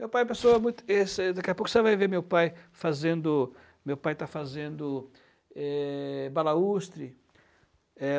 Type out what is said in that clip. Meu pai passou muito... esse... Daqui a pouco você vai ver meu pai fazendo... Meu pai está fazendo eh, balaústre. É...